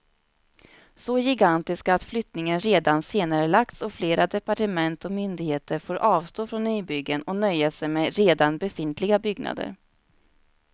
Så gigantiska att flyttningen redan senarelagts och flera departement och myndigheter får avstå från nybyggen och nöja sig med redan befintliga byggnader.